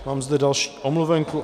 Mám zde další omluvenku.